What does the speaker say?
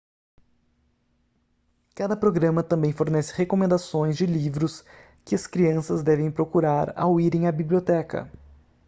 cada programa também fornece recomendações de livros que as crianças devem procurar ao irem à biblioteca